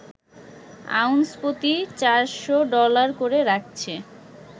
ounce প্রতি ৪০০ dollar করে রাখছে